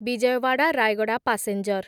Vijayawada Rayagada passenger